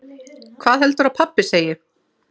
Hvað heldurðu að pabbi segi?